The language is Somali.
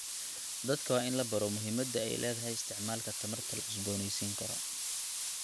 Dadka waa in la baro muhiimadda ay leedahay isticmaalka tamarta la cusboonaysiin karo.